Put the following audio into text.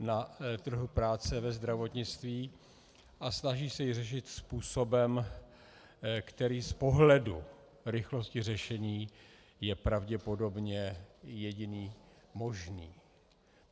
na trhu práce ve zdravotnictví a snaží se ji řešit způsobem, který z pohledu rychlosti řešení je pravděpodobně jediný možný.